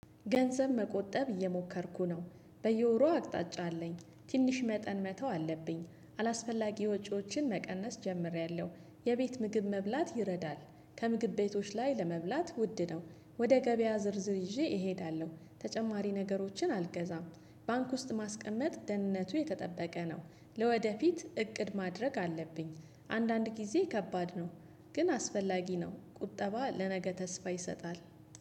ገንዘብ መቆጠብ እየሞከርኩ ነው በየወሩ አቅጣጫ አለኝ ትንሽ መጠን መተው አለብኝ አላስፈላጊ ወጪዎችን መቀነስ ጀምሬያለሁ። የቤት ምግብ መብላት ይረዳል። ከምግብ ቤቶች ላይ ለመብላት ውድ ነው። ወደ ገበያ ዝርዝር ይዤ እሄዳለሁ ተጨማሪ ነገሮችን አልገዛም። ባንክ ውስጥ ማስቀመጥ ደህንነቱ የተጠበቀ ነው። ለወደፊት እቅድ ማድረግ አለብኝ። አንዳንድ ጊዜ ከባድ ነው። ግን አስፈላጊ ነው ቁጠባ ለነገ ተስፋ ይሰጣል